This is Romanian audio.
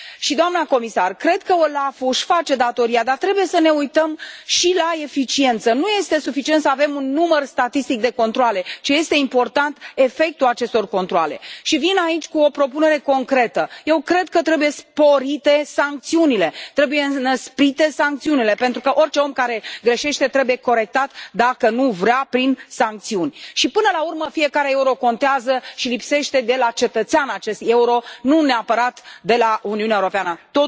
Doamnă comisar, cred că OLAF ul își face datoria, dar trebuie să ne uităm și la eficiență, nu este suficient să avem un număr statistic de controale, ci este important efectul acestor controale și vin aici cu o propunere concretă eu cred că trebuie sporite sancțiunile, trebuie înăsprite sancțiunile pentru că orice om care greșește trebuie corectat dacă nu vrea prin sancțiuni și până la urmă fiecare euro contează și lipsește de la cetățean acest euro nu neapărat de la Uniunea Europeană. Totul merge la cetățean.